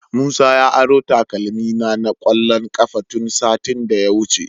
Musa ya aro takalmina na kwallon kafa tun satin da ya wuce.